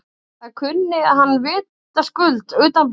Það kunni hann vitaskuld utanbókar.